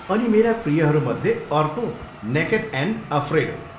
अनि मेरा प्रियहरू मध्ये अर्को नेकेड एन्ड अफ्रेड हो।